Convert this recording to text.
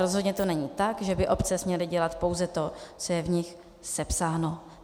Rozhodně to není tak, že by obce směly dělat pouze to, co je v nich sepsáno.